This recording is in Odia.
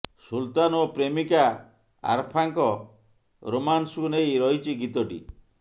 ସୁଲତାନ ଓ ପ୍ରେମିକା ଆରଫାଙ୍କ ରୋମାନ୍ସକୁ ନେଇ ରହିଛି ଗୀତଟି